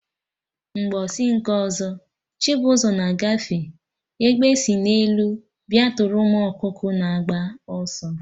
Mgbọsị nke ọzọ, Chibuzor na agafe, Egbe si n'elu bịa tụrụ ụmụ ọkụkọ na-agba ọsọ